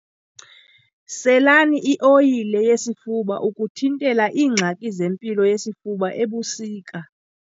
Selani ioyile yesifuba ukuthintela iingxaki zempilo yesifuba ebusika.